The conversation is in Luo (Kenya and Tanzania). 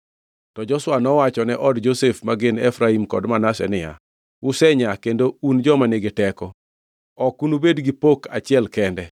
To Joshua nowachone od Josef, ma gin Efraim kod Manase niya, “Usenyaa kendo un joma nigi teko. Ok unubed gi pok achiel kende,